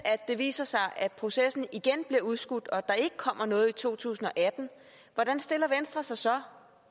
det viser sig at processen igen bliver udskudt og der ikke kommer noget i 2018 hvordan stiller venstre sig så